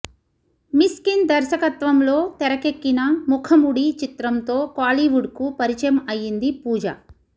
మిస్కిన్ దర్శకత్వంలో తెరకెక్కిన ముఖముడి చిత్రంతో కోలీవుడ్కు పరిచయం అయ్యింది పూజ